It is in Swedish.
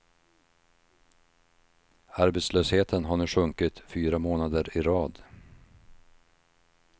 Arbetslösheten har nu sjunkit fyra månader i rad.